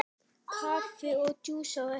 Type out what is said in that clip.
Kaffi og djús á eftir.